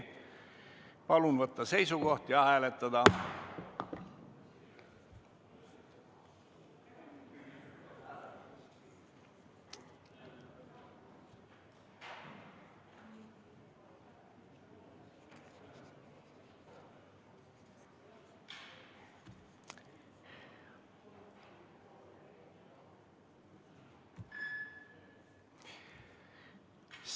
Palun võtta seisukoht ja hääletada!